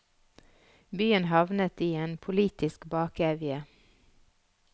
Byen havnet i en politisk bakevje.